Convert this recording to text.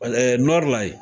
Ale Nɔri la yen.